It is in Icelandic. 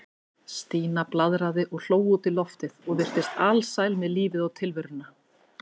Stína blaðraði og hló út í loftið og virtist alsæl með lífið og tilveruna.